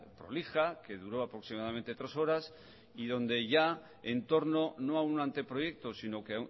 prolija que duró aproximadamente tres horas y donde ya en torno no a un anteproyecto sino que